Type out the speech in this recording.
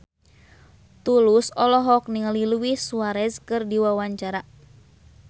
Tulus olohok ningali Luis Suarez keur diwawancara